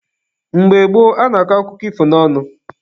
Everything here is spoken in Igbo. Mgbe gboo, a na-akọ akụkọ ifo n'ọnụ.